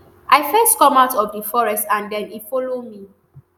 "i first come out of di forest and den e follow me.